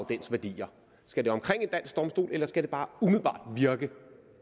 værdier skal det omkring en dansk domstol eller skal det bare umiddelbart virke